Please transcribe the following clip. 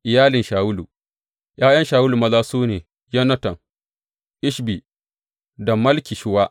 Iyalin Shawulu ’Ya’yan Shawulu maza su ne, Yonatan, Ishbi, da Malki Shuwa.